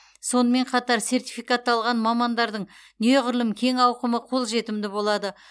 сонымен қатар сертификатталған мамандардың неғұрлым кең ауқымы қолжетімді болады